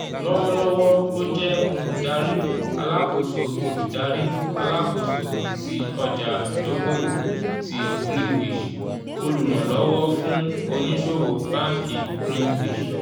lọ́wọ́lọ́wọ́ ó jẹ́ olùdarí alákóso olùdarí alákóso tí ọjà-ìdókòwò ti greenwich olùrànlówó fún ònísòwò báńkì greenwich.